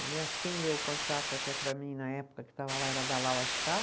Aliás, quem leu o contrato até para mim na época que estava lá era a